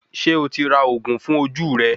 Ṣé o ti ra òògùn fún ojú rẹ